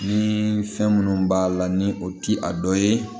Ni fɛn minnu b'a la ni o ti a dɔ ye